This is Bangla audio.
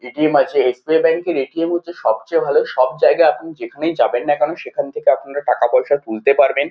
এ.টি.এম. আছে ।এস.বি.আই. ব্যাঙ্ক -এর এ.টি.এম. হচ্ছে সবচেয়ে ভালো। সবজায়গায় আপনি যেখানেই যাবেন না কেন সেখান থেকে আপনি এটার টাকা পয়সা তুলতে পারবেন।